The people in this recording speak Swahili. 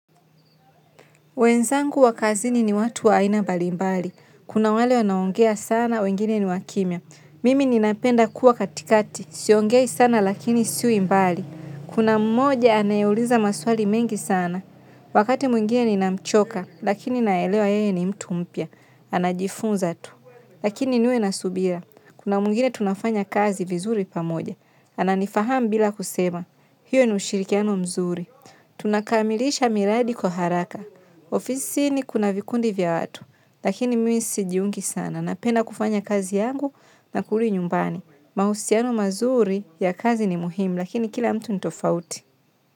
Wenzangu wa kazini ni watu wa aina mbalimbali. Kuna wale wanaoongea sana, wengine ni wa kimya. Mimi ninapenda kuwa katikati. Siongei sana lakini siwi mbali. Kuna mmoja anayeuliza maswali mengi sana. Wakati mwingine ninamchoka, lakini naelewa yeye ni mtu mpya. Anajifunza tu. Lakini niwe na subira. Kuna mwingine tunafanya kazi vizuri pamoja. Ananifahamu bila kusema. Hiyo ni ushirikiano mzuri. Tunakamilisha miradi kwa haraka. Ofisini kuna vikundi vya watu. Lakini mimi sijiungi sana. Napenda kufanya kazi yangu na kurudi nyumbani. Mahusiano mazuri ya kazi ni muhimu. Lakini kila mtu ni tofauti.